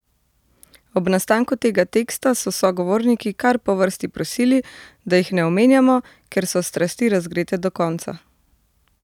Ob nastanku tega teksta so sogovorniki kar po vrsti prosili, da jih ne omenjamo, ker so strasti razgrete do konca!